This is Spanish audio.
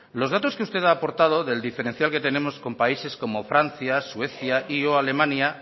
los datos que usted ha aportado del diferencial que tenemos con países como francia suecia y o alemania